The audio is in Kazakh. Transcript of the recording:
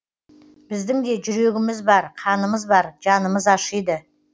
біздің де жүрегіміз бар қанымыз бар жанымыз ашиды